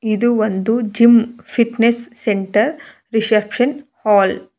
ಇದು ಒಂದು gym fitness centre reception hall .